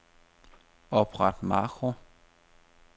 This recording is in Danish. Opret makro.